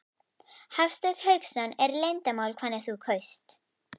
Hafsteinn Hauksson: Er leyndarmál hvernig þú kaust?